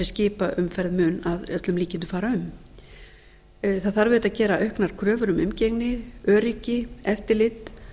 skipaumferð mun að öllum líkindum fara um það þarf auðvitað að gera auknar kröfur um umgengni öryggi eftirlit